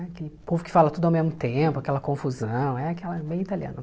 Aquele povo que fala tudo ao mesmo tempo, aquela confusão, é aquela bem italiana